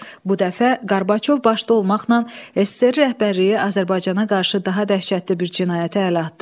Bu dəfə Qorbaçov başda olmaqla SSRİ rəhbərliyi Azərbaycana qarşı daha dəhşətli bir cinayətə əl atdı.